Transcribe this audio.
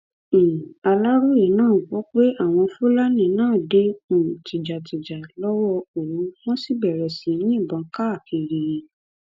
um aláròye gbọ pé àwọn fúlàní náà dé um tìjàtìjà lọwọ òru wọn sì bẹrẹ sí í yìnbọn káàkiri